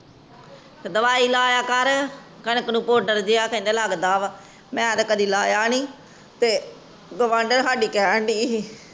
ਤੇ ਦਵਾਈ ਲਾਯਾ ਕਰ ਕਣਕ ਨੂੰ ਕਹਿੰਦੇ ਪਾਊਡਰ ਜੀਅ ਲਗਦਾ ਵਾ ਮੈਂ ਤੇ ਕਦੇ ਲਕਾਯਾ ਨੀ ਗਵੰਦਾਂ ਸਾਡੀ ਕਹਿਣ ਦੀ ਸੀ